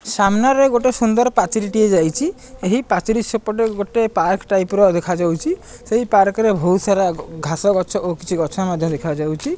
ସାମ୍ନାରେ ଗୋଟିଏ ସୁନ୍ଦର ପାଚେରିଟିଏ ଯାଇଛି ଏହି ପାଚେରି ସାଇଡ ରେ ଗୋଟେ ପାର୍କ ଟାଇପ ର ଦେଖାଯାଉଛି ସେହି ପାର୍କ ରେ ବହୁତ ସାର ଘାସ ଗଛ କିଛି ଗଛ ମଧ୍ଯ ଦେଖାଯାଉଛି।